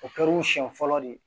O kɛra u siɲɛ fɔlɔ de ye